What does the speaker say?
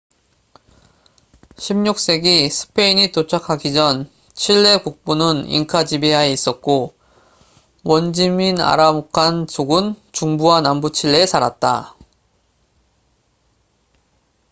16세기 스페인이 도착하기 전 칠레 북부는 잉카 지배하에 있었고 원주민 아라우칸마푸체족은 중부와 남부 칠레에 살았다